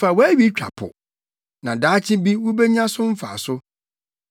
Fa wʼawi twa po; na daakye bi wubenya so mfaso.